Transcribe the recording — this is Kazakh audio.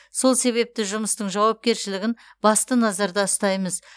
сол себепті жұмыстың жауапкершілігін басты назарда ұстаймыз